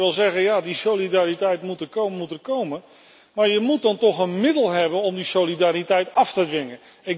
Nu kunt u wel zeggen dat die solidariteit er moet komen maar we moeten dan toch een middel hebben om die solidariteit af te dwingen.